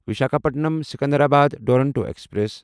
Visakhapatnam Secunderabad Duronto express